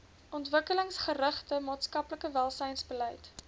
ontwikkelingsgerigte maatskaplike welsynsbeleid